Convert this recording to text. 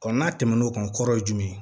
n'a tɛmɛn'o kan kɔrɔ ye jumɛn ye